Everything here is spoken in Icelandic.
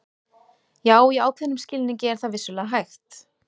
Já, í ákveðnum skilningi er það vissulega hægt.